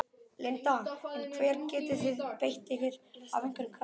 Linda: En hvar getið þið beitt ykkur af einhverjum krafti?